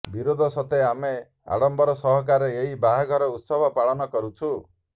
ବିରୋଧ ସତ୍ତ୍ୱେ ଆମେ ଆଡମ୍ୱର ସହକାରେ ଏହି ବାହାଘର ଉତ୍ସବ ପାଳନ କରୁଛୁ